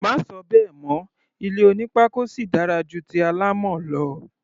Má sọ bẹ́ẹ̀ mọ́! Ilé onípákó sì dára ju ti alámọ̀ lọ.